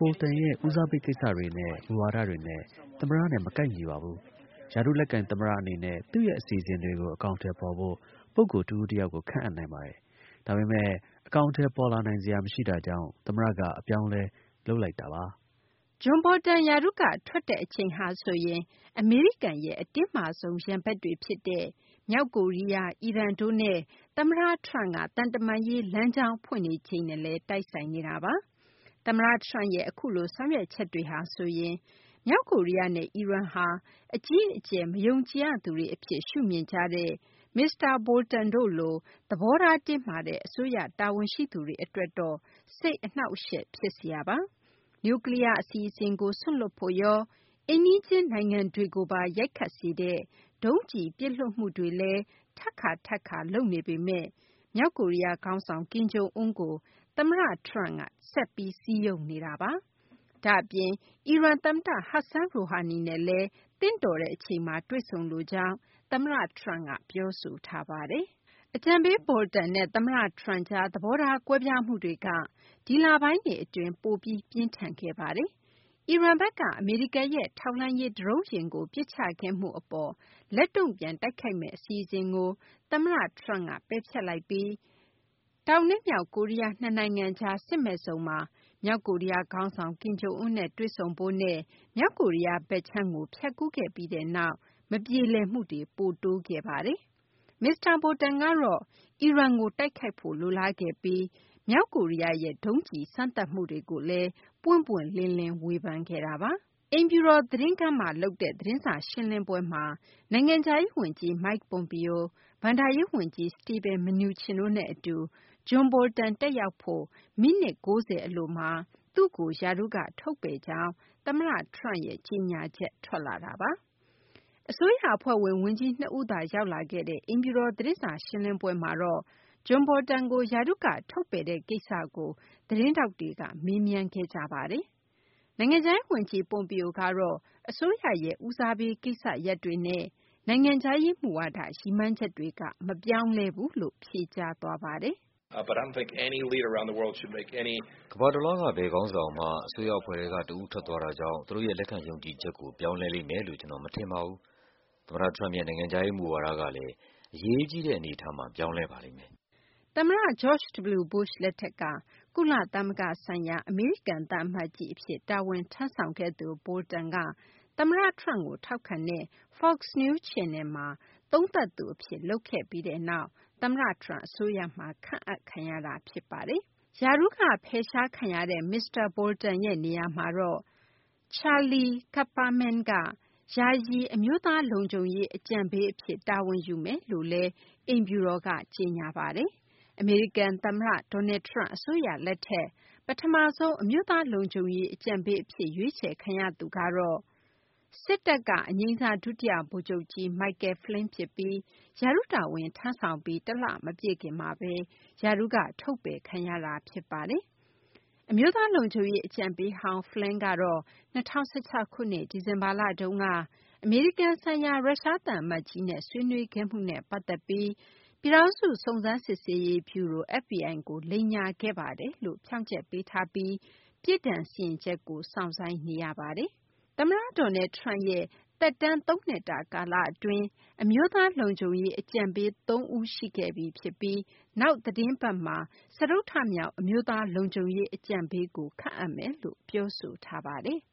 Bolton ရဲ့ ဦးစားပေးကိစ္စတွေနဲ့ မူဝါဒတွေနဲ့ သမ္မတနဲ့ မကိုက်ညီပါဘူး။ ရာထူး လက်ကိုင် သမ္မတအနေနဲ့ သူ့ရဲ့ အစီအစဉ်တွေကို အကောင်အထည်ဖော်ဖို့ ပုဂ္ဂိုလ် တဦးတယောက်ကို ခန့်အပ်နိုင်ပါတယ်။ ဒါပေမယ့် အကောင်အထည် ပေါ်လာနိုင်စရာ မရှိတာကြောင့်သမ္မတက အပြောင်းအလဲလုပ်လိုက်တာပါ။” John Bolton ရာထူးက ထွက်တဲ့ အချိန်ဟာဆိုရင် အမေရိကန်ရဲ့ အတင်းမာဆုံး ရန်ဘက်တွေ ဖြစ်တဲ့ မြောက်ကိုရီးယားနဲ့ အီရန်တို့နဲ့ သမ္မတ Trump က သံတမန်ရေး လမ်းကြောင်းဖွင့်နေချိန်နဲ့လည်း တိုက်ဆိုင်နေတာပါ။ သမ္မတ Trump ရဲ့ အခုလို ဆောင်ရွက်ချက်တွေဟာဆိုရင် မြောက်ကိုရီးယားနဲ့ အီရန်ဟာ အကြီးအကျယ် မယုံကြည်ရသူတွေ အဖြစ် ရှုမြင်ကြတဲ့ မစ္စတာ Bolton တို့လို သဘောထား တင်းမာတဲ့ အစိုးရ တာဝန်ရှိသူတွေ အတွက်တော့ စိတ်အနှောင့်အယှက် ဖြစ်စရာပါ။ နျူကလီယား အစီအစဉ်ကို စွန့်လွှတ်ဖို့ရော၊ အိမ်နီးချင်း နိုင်ငံတွေကိုပါ ရိုက်ခတ်စေတဲ့ ဒုံးကျည်ပစ်လွှတ်မှုတွေလည်း ထပ်ခါ ထပ်ခါ လုပ်နေပေမယ့်လည်း မြောက်ကိုရီးယား ခေါင်းဆောင် ကင်ဂျုံအွန်းကို သမ္မတ Trump က ဆက်ပြီး စည်းရုံးနေတာပါ။ ဒါ့အပြင် အီရန် သမ္မတ Hassan Rouhani နဲ့လည်း သင့်တော်တဲ့တချိန်မှာ တွေ့ဆုံလိုကြောင်း သမ္မတ Trump က ပြောဆိုထားတာပါ။ အကြံပေး Bolton နဲ့ သမ္မတ Trump ကြား သဘောထား ကွဲပြားမှုတွေက ဒီလပိုင်းတွေ အတွင်း ပိုပြီး ပြင်းထန်လာခဲ့ပါတယ်။ အီရန်ဘက်က အမေရိကန်ရဲ့ ထောက်လှမ်းရေး ဒရုန်းယာဉ်ကို ပစ်ချခဲ့မှုအပေါ် လက်တုံ့ပြန် တိုက်ခိုက်မယ့်အစီအစဉ်ကို သမ္မတ Trump က ဖျက်လိုက်ပြီး တောင်နဲ့မြောက် ကိုရီးယားနှစ်နိုင်ငံကြား စစ်မဲ့ဇုန်မှာ သမ္မတ Trump က မြောက်ကိုရီးယားခေါင်းဆောင် ကင်ဂျုံအွန်းကိုတွေ့ဆုံဖို့နဲ့ မြောက် ကိုရီးယားဘက်ခြမ်းကို ဖြတ်ကူးခဲ့ပြီးနောက်ပိုင်း မပြေလည်မှုတွေက ပိုများလာခဲ့တာပါ။ မစ္စတာ Bolton ကတော့ အီရန်ကို တိုက်ဖို့ လိုလားခဲ့ပြီး မြောက်ကိုရီးယားရဲ့ ဒုံးကျည် စမ်းသပ်မှုတွေကိုလည်း ပွင့်ပွင့်လင်းလင်း ဝေဖန်ခဲ့တာပါ။ အမေရိကန် သမ္မတအိမ်ဖြူတော် သတင်းခန်းမှာ သတင်းစာရှင်းလင်းပွဲမှာ နိုင်ငံခြားရေး ဝန်ကြီး Mike Pompeo၊ ဘဏ္ဍာရေး ဝန်ကြီး Steven Mnuchin တို့နဲ့ အတူ John Bolton တက်ရောက်ဖို့ မိနစ် ၉၀ အလိုမှာ သူ့ကို ရာထူးက ထုတ်ပယ်ကြောင်း သမ္မတ Trump ရဲ့ ကြေညာချက် ထွက်လာတာပါ။ အစိုးရအဖွဲ့ဝင် ဝန်ကြီးနှစ်ဦးသာ ရောက်လာခဲ့တဲ့ အိမ်ဖြူတော် သတင်းစာရှင်းလင်းပွဲမှာတော့ John Bolton ကို ရာထူးက ထုတ်ပယ်လိုက် တဲ့ကိစ္စကို သတင်းထောက်တွေက မေးမြန်းခဲ့ကြပါတယ်။ နိုင်ငံခြားရေး ဝန်ကြီး Pompeo ကတော့ အစိုးရရဲ့ ဦးစားပေး ကိစ္စရပ်တွေနဲ့ နိုင်ငံခြားရေး မူဝါဒ ရည်မှန်းချက်တွေက မပြောင်းလဲဘူးလို့ ဖြေကြားသွားပါတယ်။ “ကမ္ဘာတလွှားက ဘယ်ခေါင်းဆောင်မှ အစိုးရ အဖွဲ့ထဲက တဦးထွက်သွားတာကြောင့် သူတို့ရဲ့ လက်ခံယုံကြည်ချက်ကို ပြောင်းလဲလိမ့်မယ်လို့ ကျနော် မထင်ပါဘူး။ သမ္မတ Trump ရဲ့ နိုင်ငံခြားရေး မူဝါဒကလည်း အရေးကြီးတဲ့ အနေအထားမှာ ပြောင်းလဲပါ လိမ့် မယ်။” သမ္မတ George W. Bush လက်ထက်က ကုလသမဂ္ဂဆိုင်ရာ အမေရိကန် သံအမတ်ကြီး အဖြစ် တာဝန်ထမ်းဆောင်ခဲ့သူBolton က သမ္မတ Trump ကို ထောက်ခံတဲ့ Fox News Channel မှာ သုံးသပ်သူ အဖြစ် လုပ်ခဲ့ပြီးနောက် သမ္မတ Trump အစိုးရမှာ ခန့်အပ်ခံရ တာ ဖြစ်ပါတယ်။ ရာထူးက ဖယ်ရှားခံရတဲ့ မစ္စတာ Bolton ရဲ့ နေရာမှာတော့ Charlie Kupperman က ယာယီ အမျိုးသားလုံခြုံရေးအဖြစ် တာဝန်ယူမယ်လို့လည်း အိမ်ဖြူတော် က ကြေညာပါတယ်။ အမေရိကန် သမ္မတ Donald Trump အစိုးရ လက်ထက် ပထမဆုံး အမျိုးသား လုံခြုံရေး အကြံပေးအဖြစ် ရွေးချယ်ခံရသူကတော့ စစ်တပ်က အငြိမ်းစား ဒုတိယဗိုလ်ချုပ်ကြီး Michael Flynn ဖြစ်ပြီး ရာထူးတာဝန် ထမ်းဆောင်ပြီး တလ မပြည့်ခင်မှာပဲ ရာထူးက ထုတ်ပယ်ခံရတာ ဖြစ်ပါတယ်။ အမျိုးသား လုံခြုံရေး အကြံပေးဟောင်း Flynn ကတော့ ၂၀၁၆ ခုနှစ် ဒီဇင်ဘာလတုန်းက အမေရိကန်ဆိုင်ရာ ရုရှား သံအမတ်ကြီးနဲ့ ဆွေးနွေးခဲ့မှုနဲ့ပတ်သက်ပြီး ပြည်ထောင်စု စုံစမ်း စစ်ဆေးရေး ဗျူရို FBI ကို လိမ်ညာခဲ့ပါတယ်လို့ ဖြောင့်ချက်ပေးထားပြီး ပြစ်ဒဏ် စီရင်ချက် ကို စောင့်ဆိုင်းနေရပါတယ်။ သမ္မတ Donald Trump ရဲ့ သမ္မတ သက်တမ်း ၃ နှစ်တာ ကာလအတွင်း အမျိုးသား လုံခြုံရေး အကြံပေး ၃ ဦး ရှိခဲ့ပြီ ဖြစ်ပြီး နောက် သီတင်း ပတ်မှာ စတုတ္ထမြောက် အမျိုးသားလုံခြုံရေး အကြံပေးကို ခန့်အပ်မယ်လို့ ပြောဆိုထားပါတယ်။